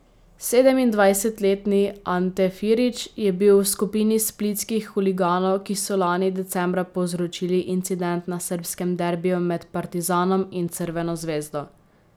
Sedemindvajsetletni Ante Firić je bil v skupini splitskih huliganov, ki so lani decembra povzročili incident na srbskem derbiju med Partizanom in Crveno zvezdo.